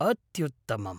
अत्युत्तमम्!